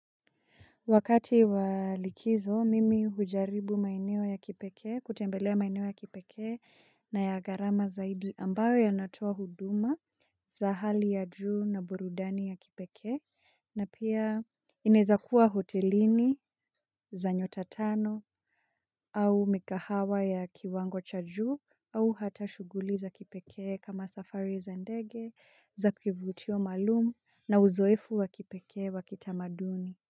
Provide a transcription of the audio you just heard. Wakati wa likizo, mimi hujaribu maeneo ya kipekee, kutembelea maeneo ya kipekee na ya gharama zaidi ambayo yanatoa huduma za hali ya juu na burudani ya kipekee, na pia inaweza kuwa hotelini za nyota tano au mikahawa ya kiwango cha juu au hata shughuli za kipeke kama safari za ndege za kivutio maalumu na uzoefu wa kipekee wa kitamaduni.